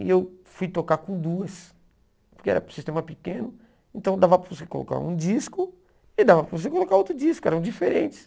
E eu fui tocar com duas, porque era um sistema pequeno, então dava para você colocar um disco e dava para você colocar outro disco, eram diferentes.